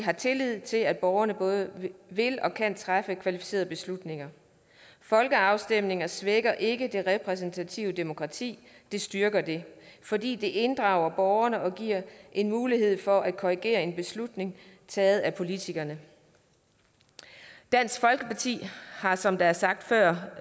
har tillid til at borgerne både vil og kan træffe kvalificerede beslutninger folkeafstemninger svækker ikke det repræsentative demokrati det styrker det fordi det inddrager borgerne og giver en mulighed for at korrigere en beslutning taget af politikerne dansk folkeparti har som det er sagt før